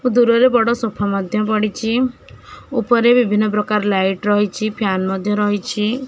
ଓ ଦୂରରେ ବଡ଼ ସୋଫା ମଧ୍ୟ ପଡ଼ିଚି ଉପରେ ବିଭିନ୍ନ ପ୍ରକାର ଲାଇଟ୍ ରହିଚି ଫ୍ୟାନ ମଧ୍ୟ ରହିଚି।